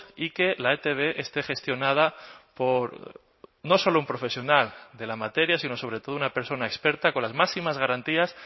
y que la etb esté gestionada por no solo un profesional de la materia sino sobre todo una persona experta con las máximas garantías